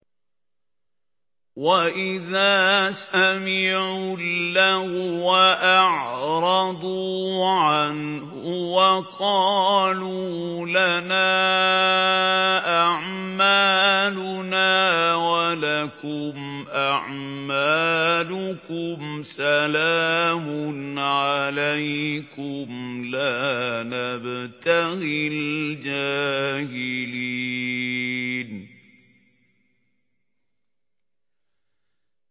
وَإِذَا سَمِعُوا اللَّغْوَ أَعْرَضُوا عَنْهُ وَقَالُوا لَنَا أَعْمَالُنَا وَلَكُمْ أَعْمَالُكُمْ سَلَامٌ عَلَيْكُمْ لَا نَبْتَغِي الْجَاهِلِينَ